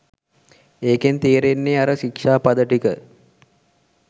ඒකෙන් තේරෙන්නේ අර ශික්ෂාපද ටික